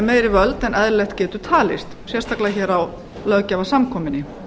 meiri völd en eðlilegt getur talist sérstaklega hér á löggjafarsamkomunni